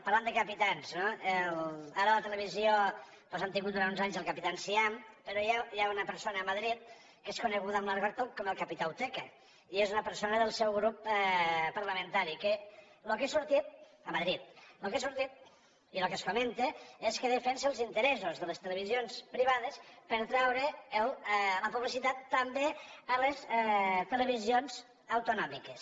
parlant de capitans no ara a la televisió doncs hem tingut durant uns anys el capità enciam però hi ha una persona a madrid que és coneguda en argot com el capità uteca i és una persona del seu grup parlamentari a madrid que el que ha sortit i el que es comenta és que defensa els interessos de les televisions privades per traure la publicitat també a les televisions autonòmiques